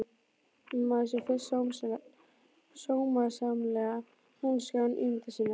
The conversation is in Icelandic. Nema maður sé fyrst sómasamleg manneskja án ímyndunar sinnar.